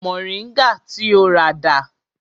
Moringa ti o rà dà?